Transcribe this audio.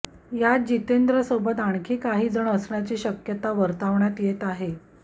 यात जितेंद्रसोबत आणखी काही जण असण्याची शक्यता वर्तवण्यात येत आहे